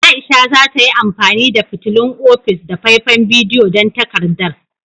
Aisha za ta yi amfani da fitilun ofis da faifan bidiyo don takardar.